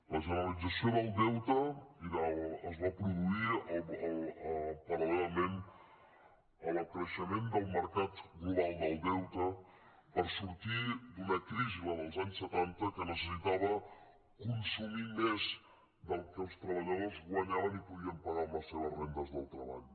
la generalització del deute es va produir parallelament al creixement del mercat global del deute per sortir d’una crisi la dels anys setanta que necessitava consumir més del que els treballadors guanyaven i podien pagar amb les seves rendes del treball